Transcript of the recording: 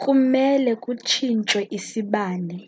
kumele kutshinthwe isibane